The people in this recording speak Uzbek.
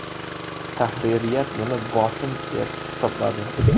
Tahririyat buni bosim deb hisobladi.